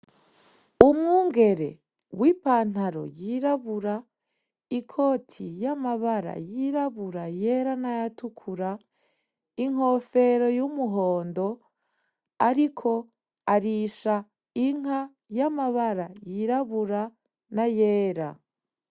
Umwungere w'ipantaro yirabura, ikoti y'amabara yirabura yera n'ayatukura, inkofero y'umuhondo ariko arisha inka y'amabara yirabura n'ayera.